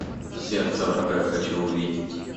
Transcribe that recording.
сердце врага хочу увидеть